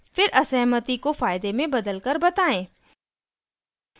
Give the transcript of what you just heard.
फिर असहमति को फायदे में बदलकर बताएं